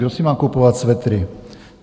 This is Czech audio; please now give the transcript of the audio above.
Kdo si má kupovat svetry?